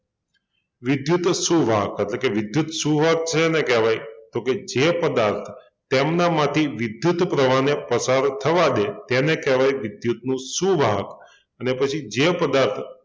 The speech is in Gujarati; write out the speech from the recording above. વિદ્યુત સુવાહક એટલે કે વિદ્યુત સુવાહક શેને કહેવાય? તો કે જે પદાર્થ તેમનામાંથી વિદ્યુત પ્રવાહને પસાર થવાં દે તેને કહેવાય વિદ્યુતનુંં સુવાહક અને પછી જે પદાર્થો